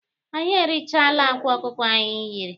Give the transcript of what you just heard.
Anyị erichaala akwa ọkụkọ anyị yiri.